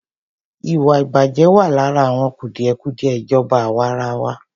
Ìwàìbàjẹ́ wà lára àwọn kùdìẹ̀kùdìẹ ìjọba àwàrawa.